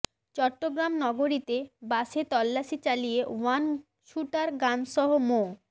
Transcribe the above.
চট্টগ্রাম নগরীতে বাসে তল্লাশি চালিয়ে ওয়ান শুটার গানসহ মো